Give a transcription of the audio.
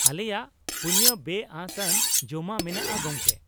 ᱟᱞᱮᱭᱟᱜ ᱯᱩᱱᱭᱟᱹ ᱵᱮᱼᱟᱹᱥ ᱟᱱ ᱡᱚᱢᱟᱜ ᱢᱮᱱᱟᱜᱼᱟ ᱜᱚᱝᱠᱮ ᱾